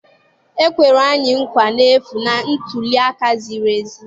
E kwere anyị nkwa n'efu na ntuli aka ziri ezi.